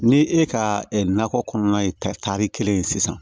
Ni e ka nakɔ kɔnɔna ye tari kelen ye sisan